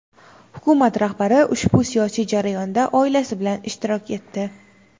Hukumat rahbari ushbu siyosiy jarayonda oilasi bilan ishtirok etdi.